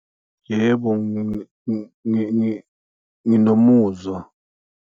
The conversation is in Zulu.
Yebo, nginomuzwa.